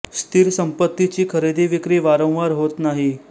स्थिर संपत्ती ची खरेदी विक्री वारंवार होत नाही